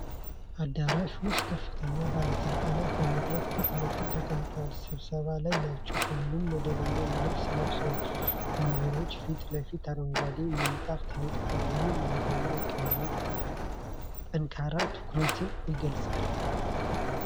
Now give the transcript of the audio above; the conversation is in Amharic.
አዳራሽ ውስጥ ከፍተኛ ባለሥልጣናት በመድረክ ፊት ለፊት ተቀምጠው ስብሰባ ላይ ናቸው። ሁሉም መደበኛ ልብስ ለብሰዋል። ወንበሮች ፊት ለፊት አረንጓዴ ምንጣፍ ተነጥፏል። ውብ የሆነ የአቀማመጥ ሁኔታ ጠንካራ ትኩረትን ይገልጻል።